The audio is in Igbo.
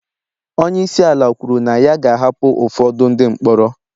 Onye isi ala kwuru na ya ga-ahapụ ụfọdụ ndị mkpọrọ